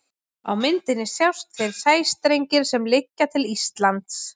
Á myndinni sjást þeir sæstrengir sem liggja til Íslands.